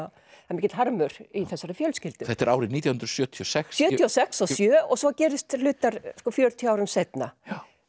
mikill harmur í þessari fjölskyldu þetta er árið nítján hundruð sjötíu og sex sjötíu og sex og sjö og svo gerast hlutar fjörutíu árum seinna